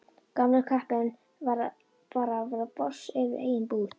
Gamli kappinn bara að verða boss yfir eigin búð.